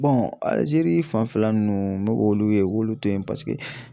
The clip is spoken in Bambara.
Alizeri fanfɛla nunnu n bɛ k'olu ye u k'olu to yen paseke